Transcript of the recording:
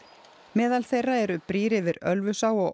meðal þeirra eru brýr yfir Ölfusá og